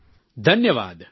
પ્રધાનમંત્રી ધન્યવાદ